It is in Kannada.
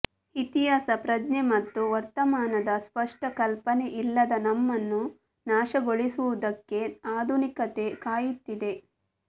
ಇತಿಹಾಸ ಪ್ರಜ್ಞೆ ಮತ್ತು ವರ್ತಮಾನದ ಸ್ವಷ್ಟ ಕಲ್ಪನೆ ಇಲ್ಲದ ನಮ್ಮನ್ನು ನಾಶಗೊಳಿಸುವುದಕ್ಕೆ ಆಧುನಿಕತೆ ಕಾಯುತ್ತಿದೆ